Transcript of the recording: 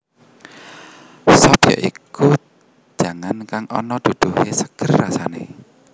Sop ya iku jangan kang ana duduhé seger rasané